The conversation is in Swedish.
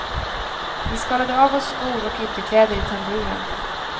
Vi skalade av oss skor och ytterkläder i tamburen.